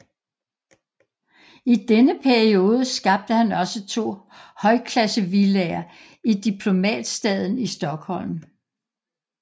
I denne periode skabte han også to højklassevillaer i Diplomatstaden i Stockholm